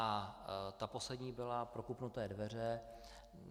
A ta poslední byla prokopnuté dveře.